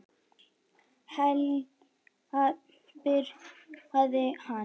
Heljar, byrjaði hann.